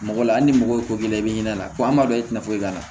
Mɔgɔ la hali ni mɔgɔ ye ko k'i la i bɛ i ɲɛna lako ma dɔn i tɛna foyi k'a la